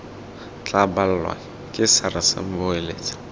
tla balwa ke sars boeletsa